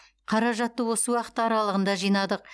қаражатты осы уақыт аралығында жинадық